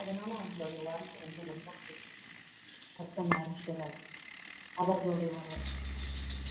அதனால அவங்களுடைய வாழ்க்கை வந்து ரொம்ப பிடிச்சுருக்கு அர்த்தநாரீஸ்வரர் அவர்களுடைய ஒரு